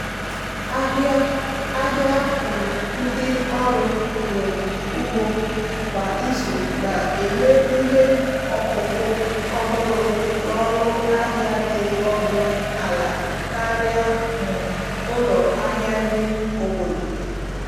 ahịa ahịa um ndị ọrụ um ugbo kwa izu na-enye ihe ọkụkụ ọhụrụ n'ọnụ ahịa dị ọnụ ala karịa um ụlọ ahịa nri obodo.